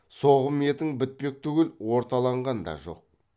соғым етің бітпек түгіл орталаған да жоқ